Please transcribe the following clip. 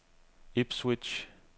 Ipswich